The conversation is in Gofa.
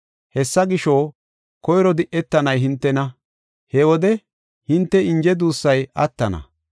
Hessa gisho, koyro di7etanay hintena; he wode hinte inje duussay attana.